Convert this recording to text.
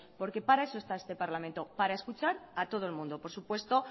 porque para eso está este parlamento para escuchar a todo el mundo por supuesto